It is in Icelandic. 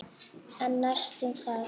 En næst það?